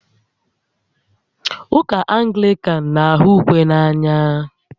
Ụka Anglican na-ahụ ukwe n'anya